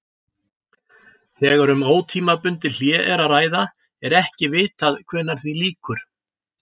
Þegar um ótímabundið hlé er að ræða er ekki vitað hvenær því lýkur.